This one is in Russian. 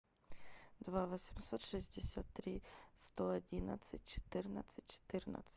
два восемьсот шестьдесят три сто одиннадцать четырнадцать четырнадцать